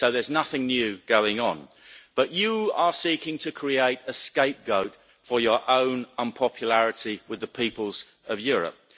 So there's nothing new going on, but you are seeking to create a scapegoat for your own unpopularity with the peoples of Europe.